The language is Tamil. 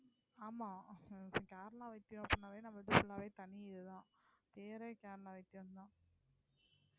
ஆமா கேரளா வைத்தியம் அப்படின்னாலே நம்ம இது full ஆவே தனி இதுதான் பேரே கேரளா வைத்தியம்தான்